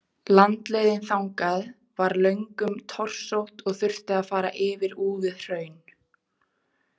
Landleiðin þangað var löngum torsótt og þurfti að fara yfir úfið hraun.